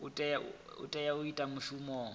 o tea u ita mushumo